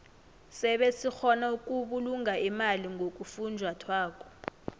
sebe sikgona ukubulunga imali ngofunjathwako